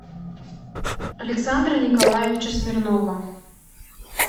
александра николаевича смирнова